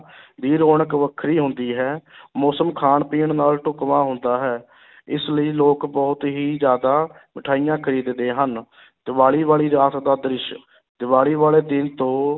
ਦੀ ਰੌਣਕ ਵੱਖਰੀ ਹੁੰਦੀ ਹੈ ਮੌਸਮ ਖਾਣ ਪੀਣ ਨਾਲ ਢੁਕਵਾਂ ਹੁੰਦਾ ਹੈ ਇਸ ਲਈ ਲੋਕ ਬਹੁਤ ਹੀ ਜ਼ਿਆਦਾ ਮਠਿਆਈਆਂ ਖ਼ਰੀਦਦੇ ਹਨ ਦੀਵਾਲੀ ਵਾਲੀ ਰਾਤ ਦਾ ਦ੍ਰਿਸ਼ ਦੀਵਾਲੀ ਵਾਲੇ ਦਿਨ ਤੋਂ